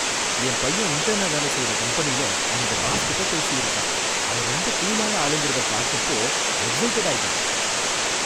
என் பையன் இன்டர்னா வேலை செய்ற கம்பெனில அவங்க பாஸ் கிட்ட பேசியிருக்கான், அவர் ரொம்ப கூலான ஆளுங்கிறத பார்த்தப்போ எக்ஸைட்டட் ஆயிட்டான்.